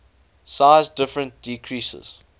size difference decreases